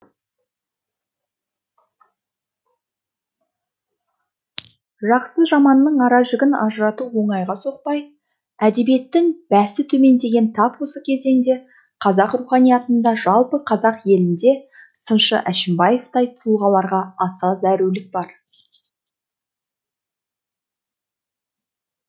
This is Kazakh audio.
жақсы жаманның ара жігін ажырату оңайға соқпай әдебиеттің бәсі төмендеген тап осы кезеңде қазақ руханиятында жалпы қазақ елінде сыншы әшімбаевтай тұлғаларға аса зәрулік бар